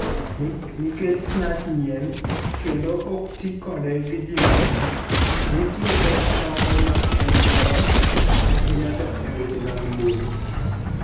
Nikech Snarch nyien kendo ok tii godo giji mang'eny, nitie pek moko ma en godo ahinya to eweche mag mbui.